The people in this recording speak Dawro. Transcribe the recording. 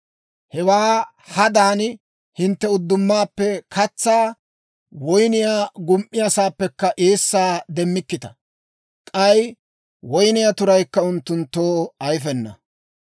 Hewaa hadan hintte uddumaappe katsaa, woyniyaa gum"iyaasaappekka eessaa demmikkita; k'ay woyniyaa turaykka unttunttoo ayifena.